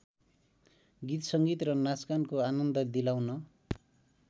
गीतसङ्गीत र नाचगानको आनन्द दिलाउन